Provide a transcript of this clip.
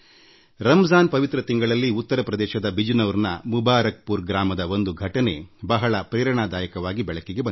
ರಂಜಾನ್ ಪವಿತ್ರ ಮಾಸದಲ್ಲಿ ಉತ್ತರ ಪ್ರದೇಶದ ಬಿಜನೌರ್ನ ಮುಬಾರಕ್ಪುರ್ ಗ್ರಾಮದ ಒಂದು ಘಟನೆ ನನಗೆ ಪ್ರೇರಣಾದಾಯಕವಾಗಿ ಕಂಡಿದೆ